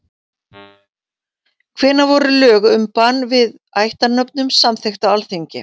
Hvenær voru lög um bann við ættarnöfnum samþykkt á Alþingi?